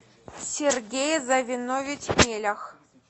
сергей завенович мелях